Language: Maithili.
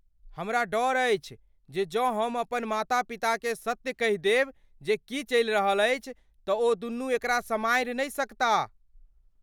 हमरा डर अछि जे जँ हम अपन माता पिताकेँ सत्य कहि देब जे की चलि रहल अछि, तँ ओदुनू एकरा सम्हारि नहि सकताह।